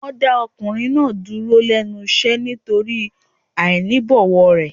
Wọn dá ọkùnrin náà dúró lẹ́nu iṣẹ́ nítorí àìní ìbọ̀wọ̀ rẹ̀.